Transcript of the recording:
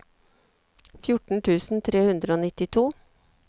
fjorten tusen tre hundre og nittito